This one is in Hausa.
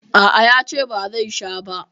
A a, ya ce ba zai sha ba.